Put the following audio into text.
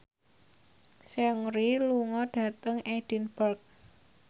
Seungri lunga dhateng Edinburgh